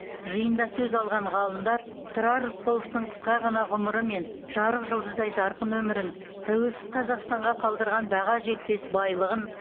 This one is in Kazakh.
жиында сөз алған ғалымдар тұрар рысқұловтың қысқа ғана ғұмыры мен жарық жұлдыздай жарқын өмірін тәуелсіз қазақстанға қалдырған баға жетпес байлығын